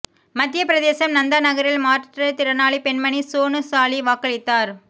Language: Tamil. மத்திய பிரதேசம் நந்தா நகரில் மாற்றுத்திறனாளி பெண்மணி சோனு சாலி வாக்களித்தார்